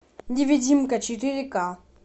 невидимка четыре ка